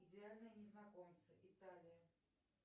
идеальные незнакомцы италия